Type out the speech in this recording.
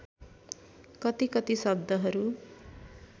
कति कति शब्दहरू